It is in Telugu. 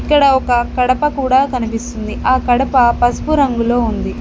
ఇక్కడ ఒక కడప కూడా కనిపిస్తుంది ఆ కడప పసుపు రంగులో ఉంది.